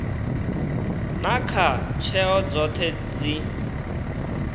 na kha tsheo dzoṱhe dzi